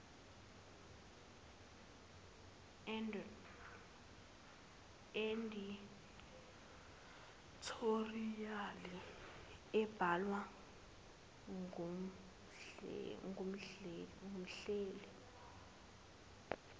edithoriyali ibhalwa ngumhleli